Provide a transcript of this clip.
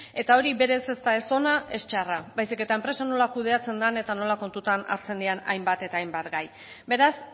eta hori berez ez da ez hona ez txarra baizik eta enpresa nola kudeatzen den eta nola kontutan hartzen diren hainbat eta hainbat gai beraz